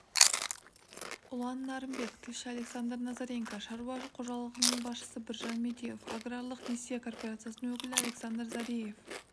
ұлан нарынбек тілші александр назаренко шаруа қожалығының басшысы біржан медеуов аграрлық несие корпорациясының өкілі александр зореев